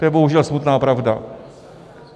To je bohužel smutná pravda.